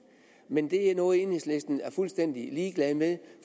men det er noget enhedslisten er fuldstændig ligeglad med